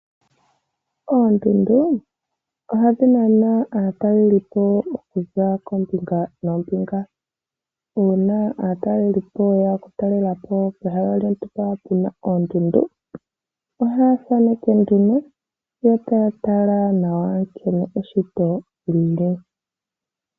Oondundu ohadhi nana aatalelipo okuza koombinga noombinga. Uuna aatalelipo ye ya okutalela po pehala lyontumba pu na oondundu, ohaya thaneke nduno yo taa tala nawa nkene eshito li li.